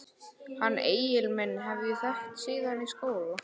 Hann Egil minn hef ég þekkt síðan í skóla.